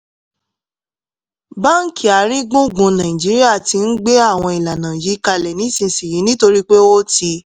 báńkì àárín gbùngbùn nàìjíríà ti ń gbé àwọn ìlànà yìí kalẹ̀ nísinsìnyí nítorí pé ó ti